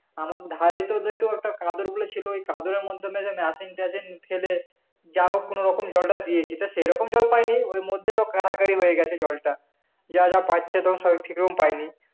আমাদের ধারে যেহেতু কাদের বলে ছিল ওই কাদরের . machine টাসিন ফেলে যা হোক কোনোরকম জলটা দিয়েছি তা সেরকম জল পাইনি ওর মধ্যেই তো কাড়াকাড়ি মেরে গেছে জলটা যা যা পাচ্ছে তখন সবাই ঠিকরকম পাইনি